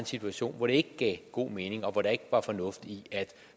situation hvor det ikke gav god mening og hvor der ikke var fornuft i